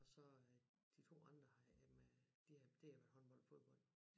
Og så øh de 2 andre har jamen de det har været håndbold fodbold